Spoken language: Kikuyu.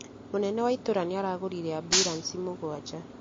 Mũnene wa itũra nĩ aragũrire ambulansi mũgwanja